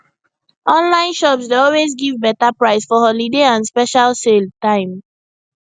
online shops dey always give better price for holiday and special sale time